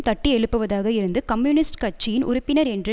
தட்டி எழுப்புவதாக இருந்து கம்யூனிஸ்ட் கட்சியின் உறுப்பினர் என்ற